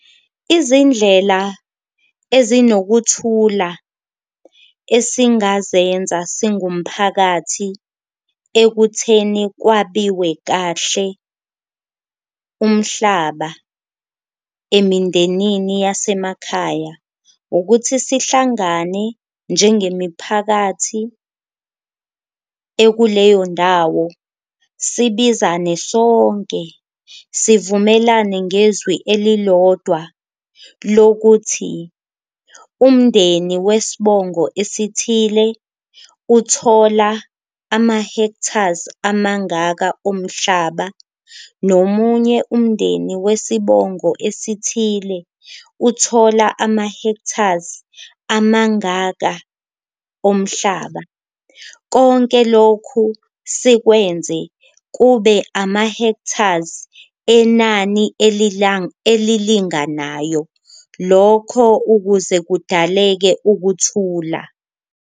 Izindlela ezinokuthula esingazenza singumphakathi ekutheni kwabiwe kahle umhlaba emindenini yasemakhaya, ukuthi sihlangane njengemiphakathi ekuleyo ndawo sibizane sonke, sivumelane ngezwi elilodwa lokuthi umndeni wesbongo esithile, uthola ama-hectares amangaka omhlaba. Nomunye umndeni wesibongo esithile uthola ama-hectares amangaka omhlaba, konke lokhu sikwenze kube ama-hectares enani elilinganayo lokho ukuze kudaleke ukuthula.